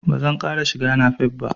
Ba zan ƙara shiga napep ba.